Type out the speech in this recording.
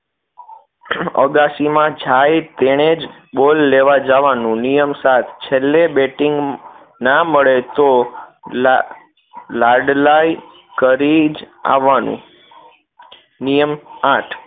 અગાશીમાં જાઈ તેણે જ ball લેવા જવાનું નિયમ સાત છેલ્લે batting ના મળે તો લાડ લાડલાઈ કરી જ આવાનું નિયમ આઠ